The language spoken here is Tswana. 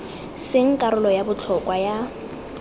seng karolo ya botlhokwa ya